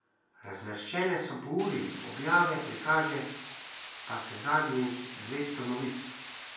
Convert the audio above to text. Razvrščene so po uri objave, prikaže pa se zadnjih dvesto novic.